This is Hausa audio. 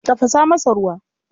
Tafasa masa ruwa.